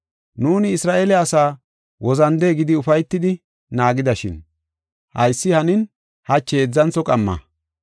Nuuni Isra7eele asaa wozande gidi ufaytidi naagidashin haysi hanin hachi heedzantho qamma.